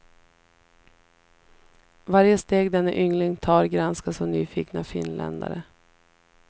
Varje steg denne yngling tar granskas av nyfikna finländare.